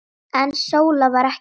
En Sóla var ekki þar.